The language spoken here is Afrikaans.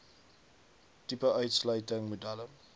tipe uitsluiting modelle